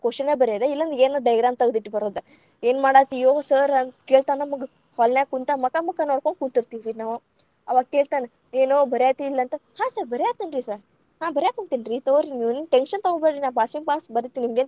Question ಬರ್ಯೋದ್‌ ಇಲ್ಲಾಂದ್ರ ಏನ್‌ ತಗದಿಟ್ಟ ಬರೋದ್.‌ ಏನ್‌ ಮಾಡಾತ್ತೀಯೊ sir ಅಂತ ಕೇಳ್ತಾನ್‌ ನಮಗ್ ‌ hall ನ್ಯಾಗ ಕುಂತ್‌ ಮಕಾ ಮಕಾ ನೋಡಕೊಂತ ಕುಂತಿರ್ತಿದ್ವಿ ನಾವ್.‌ ಅವಾಗ್‌ ಕೇಳ್ತಾನ ಏನೋ ಬರ್ಯಾತ್ತಿ ಇಲ್ಲ ಅಂತ ಹಾ sir ಬರ್ಯಾಂತೀನ್ರಿ sir ಹಾ ಬರ್ಯಾಕುಂತಿನ್ರಿ ತಗೋರಿ. ನೀವೆನ್‌ tension ತಗೋಬ್ಯಾಡ್ರಿ. ನಾ passing marks ಬರಿತೀನಿ, ನಿಮ್ದೇನ್‌.